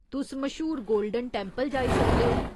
तुस मश्हूर Golden Temple जाई सकदे ओ।